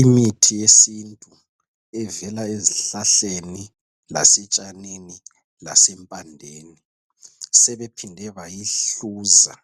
Imithi yesintu evela ezihlahleni lasetshanini, lasempandeni sebephinde bayihluza